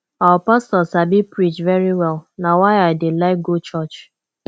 our pastor sabi preach very well na why i dey like go church